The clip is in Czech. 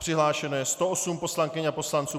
Přihlášeno je 108 poslankyň a poslanců.